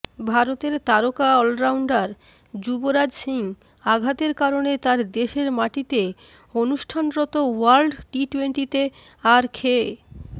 ভারতের তারকা অলরাউন্ডার যুবরাজ সিং আঘাতের কারণে তার দেশের মাটিতে অনুষ্ঠানরত ওয়ার্ল্ড টিটোয়েন্টিতে আর খে